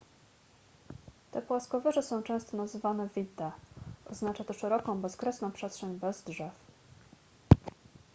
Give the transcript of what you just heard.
te płaskowyże są często nazywane vidde oznacza to szeroką bezkresną przestrzeń bez drzew